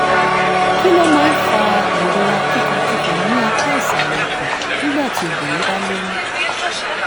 kí ló máa ń fa ìrora kíkankíkan ní apá ìsàlẹ̀ ikùn nígbà tí obìnrin bá lóyún?